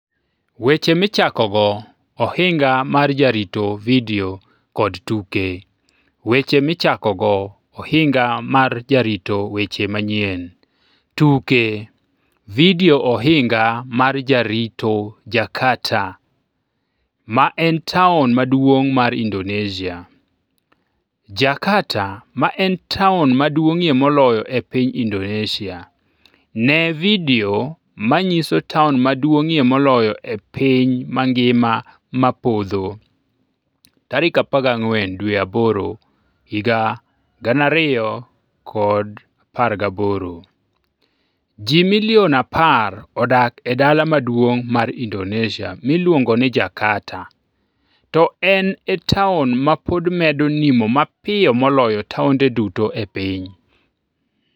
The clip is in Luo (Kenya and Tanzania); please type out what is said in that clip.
Weche Michakogo Ohinga mar Jarito Vidio kod Tuke Weche Michakogo Ohinga mar Jarito Weche Manyien tuke Vidio Ohinga mar Jarito Jakarta, ma en taon maduong' mar Indonesia: Jakarta, ma en taon maduong'ie moloyo e piny Indonesia: Ne vidio manyiso taon maduong'ie moloyo e piny mangima ma podho 14 Agost 2018 Ji milion 10 odak e dala maduong' mar Indonesia miluongo ni Jakarta, to en e taon ma pod medo nimo mapiyo moloyo taonde duto e piny.